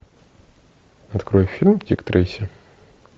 открой фильм дик трейси